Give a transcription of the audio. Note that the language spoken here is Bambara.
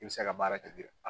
I bɛ seka baara kɛ DIRPA